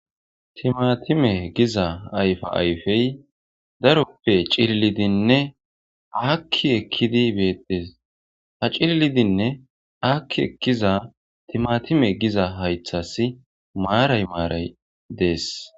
Timatime giza ayfa ayfey daroppe cillidinne aakki ekkidi beettes ha cillidinne aakki ekkiza timatime giza haythas maaray maaray dees